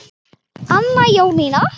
Anna Jónína.